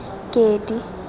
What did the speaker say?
kedi